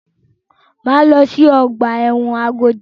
Máa lọ sí ọgbà ẹ̀wọ̀n Agodi.